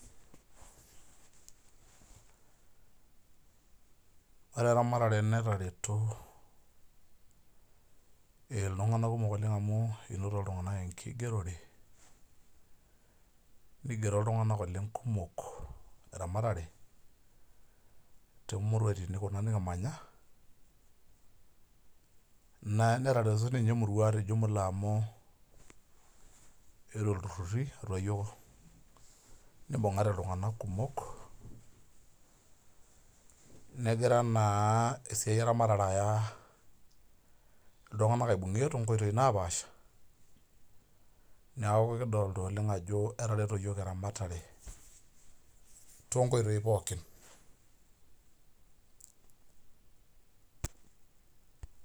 Ore eramatare netareto iltung'anak kumok oleng amu inoto iltung'anak enkigerore, nigero iltung'anak oleng kumok eramatare, tomuruaritin kuna nikimanya, netareto tinye emurua te jumla amu etuo ilturrurri, nibung'ate iltung'anak kumok, negira naa esiai eramatare aya iltung'anak aibung'ie tonkoitoii napaasha, neeku kidolta oleng ajo etareto yiok eramatare tonkoitoii pookin.